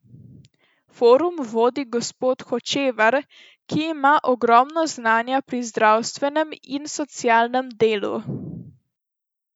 Forum vodi gospod Hočevar, ki ima ogromno znanja pri zdravstvenem in socialnem delu.